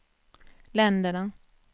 länderna